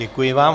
Děkuji vám.